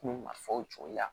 Kun ma fɔ o cogo la